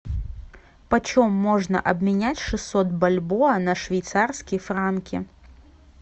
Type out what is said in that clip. почем можно обменять шестьсот бальбоа на швейцарские франки